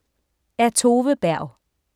Af Tove Berg